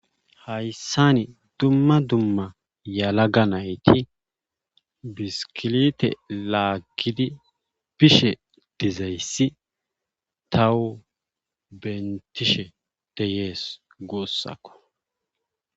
hayssani dumma dumma yalaga nayti biskilite laaggidi bishe dizayssi tawu bentishe deyees guussakko